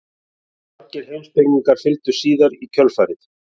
Margir heimspekingar fylgdu síðan í kjölfarið.